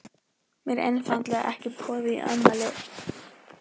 Mér er einfaldlega ekki boðið í afmælið.